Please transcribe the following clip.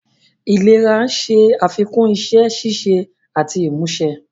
Ìléraléra ń ṣe àfikún iṣẹ́ ṣíṣe àti ìmúṣe.